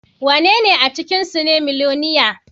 Wanene a cikinsu ne miloniya?